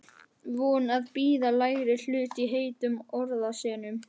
Vön að bíða lægri hlut í heitum orðasennum.